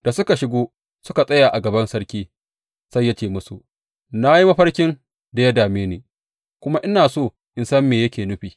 Da suka shigo suka tsaya a gaban sarki, sai ya ce musu, Na yi mafarkin da ya dame ni kuma ina so in san me yake nufi.